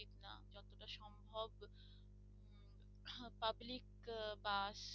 public bus